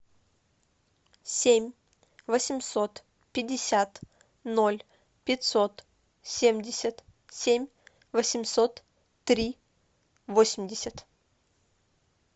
семь восемьсот пятьдесят ноль пятьсот семьдесят семь восемьсот три восемьдесят